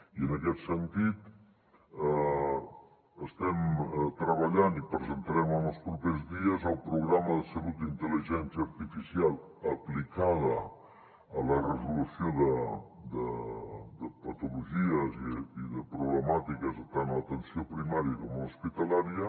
i en aquest sentit estem treballant i presentarem en els propers dies el programa de salut d’intel·ligència artificial aplicada a la resolució de patologies i de problemàtiques tant a l’atenció primària com a l’hospitalària